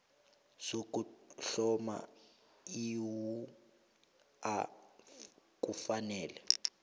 sokuhloma iwua kufanele